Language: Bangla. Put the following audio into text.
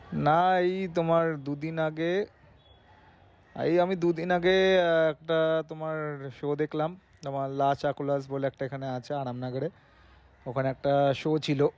না এই তোমার দুদিন আগে এই আমি দুদিন আগে একটা তোমার show দেখলাম তোমার বলে একটা এখানে আছে আনামনগরে। ওখানে একটা show ছিলো